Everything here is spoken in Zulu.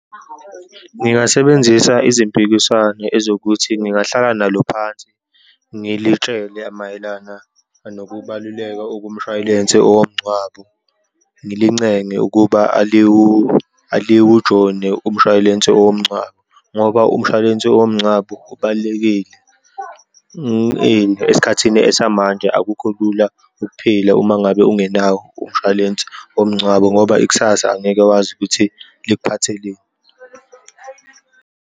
Ngingasebenzisa izimpikiswano ezokuthi ngingahlala nalo phansi, ngilitshele mayelana nokubaluleka okumshwalense owomngcwabo, ngilincenge ukuba aliwujoyine umshwalensi owomngcwabo, ngoba umshwalense womngcwabo ubalulekile. Esikhathini esamanje akukho lula ukuphila uma ngabe ungenawo umshwalense womngcwabo ngoba ikusasa angeke wazi ukuthi likuphatheleni.